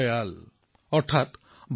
সুব্ৰমণ্যম ভাৰতীয়ে তামিল ভাষাত কৈছিল